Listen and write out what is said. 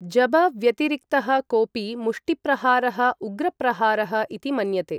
जब व्यतिरिक्तः कोपि मुष्टिप्रहारः उग्र प्रहारः इति मन्यते।